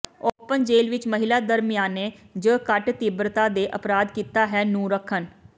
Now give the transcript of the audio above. open ਜੇਲ੍ਹ ਵਿੱਚ ਮਹਿਲਾ ਦਰਮਿਆਨੇ ਜ ਘੱਟ ਤੀਬਰਤਾ ਦੇ ਅਪਰਾਧ ਕੀਤਾ ਹੈ ਨੂੰ ਰੱਖਣ